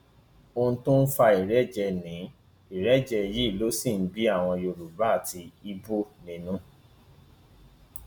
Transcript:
ohun tó ń fa ìrẹjẹ ní ìrẹjẹ yìí ló sì ń bí àwọn yorùbá àti ibo nínú